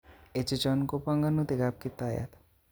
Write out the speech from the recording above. Echechon ko bongonutik kap kiptayat